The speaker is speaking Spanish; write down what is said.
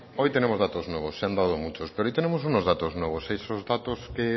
hoy tenemos datos nuevos se han dado muchos pero hoy tenemos unos datos nuevos esos datos que